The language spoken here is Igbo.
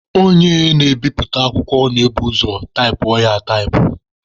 Onye na-ebiputa akwụkwọ na-ebu ụzọ taịpụọ ya ataịpụ.